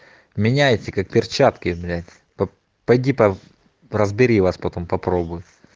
меняется как перчатки блять поди по разбери вас потом попробуй